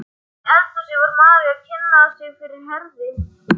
Inni í eldhúsi var María að kynna sig fyrir Herði.